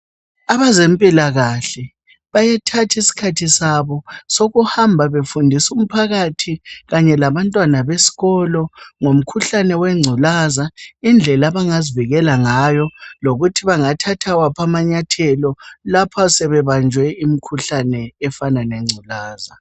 Abezempilakahle bayethatha isikhathi sabo sokuhamba befundisa umphakathi kanye labantwana besikolo ngomkhuhlane wengculaza, indlela abangazivikela ngayo, lokuthi bangathatha waphi amanyathelo lapha sebebanjwe imikhuhlane efana lengculaza.